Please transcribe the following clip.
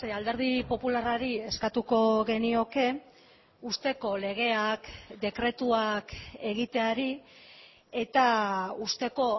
alderdi popularrari eskatuko genioke uzteko legeak dekretuak egiteari eta uzteko